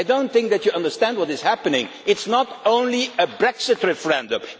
I do not think that you understand what is happening. It is not only a Brexit referendum.